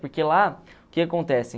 Porque lá, o que acontece?